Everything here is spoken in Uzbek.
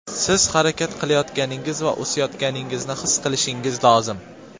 Siz harakat qilayotganingiz va o‘sayotganingizni his qilishingiz lozim.